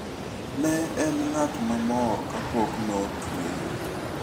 Ne en ng'at ma mor kapok notweye.